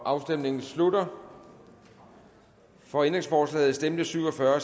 afstemningen slutter for ændringsforslaget stemte syv og fyrre